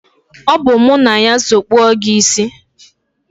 Ọ bụ mụ na ya so kpaa gị isi.